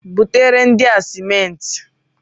Butere ndị a simenti!